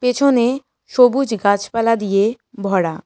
পেছনে সবুজ গাছপালা দিয়ে ভরা।